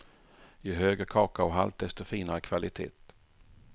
Ju högre kakaohalt desto finare kvalitet.